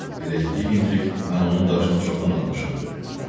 Elə incik-incik, mən onun daşını çoxdan atmışam dedi.